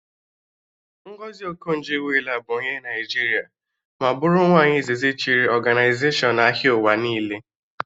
Ngọzi Okonjo Iweala bụ onye Naịjiria ma bụrụ nwaanyị izizi chịrị ọganaizashọn ahịa ụwa niile